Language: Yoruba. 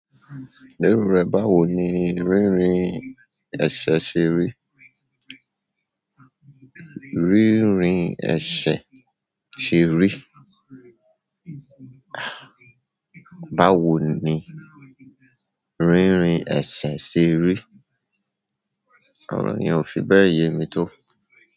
Pẹ̀lú rẹ báwo ni rínrin ẹsẹ ṣe rí? Rínrin ẹsẹ ṣe rí. Báwo ni rínrin ẹsẹ ṣe rí? Òróòyén, ò fi bẹ́ẹ̀ yemi tó.